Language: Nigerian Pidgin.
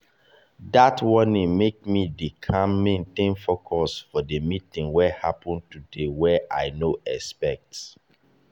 dat warning make me dey calm maintain focus for the meeting wey happen today wey i no expect.